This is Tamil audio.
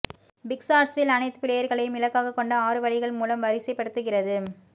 பிக்ஸார்ட்ஸில் அனைத்து பிளேயர்களையும் இலக்காகக் கொண்ட ஆறு வழிகள் மூலம் வரிசைப்படுத்துகிறது